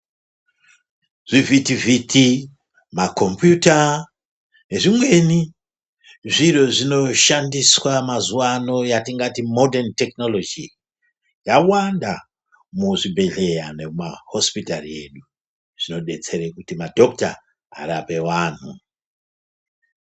Zvivhitivhiti, makombiyuta zvezvimweni zviro zvinoshandiswa mazuvano yatingati modheni tekinoloji zvawanda muzvibhedhleya nemuma hosipitari edu. Zvinodetsere kuti madhokuta arape vanhu.